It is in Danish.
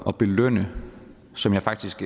at belønne som jeg faktisk